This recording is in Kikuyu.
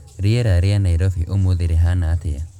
rīera rīa Nairobi ūmūthi rīhana atīa